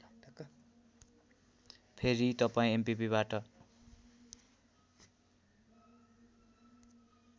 फेरी तपाईँ एमपिपिबाट